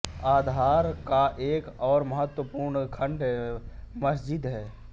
आधार का एक और महत्वपूर्ण खंड मस्जिद है